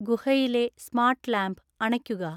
ഗുഹയിലെ smart lamp അണയ്ക്കുക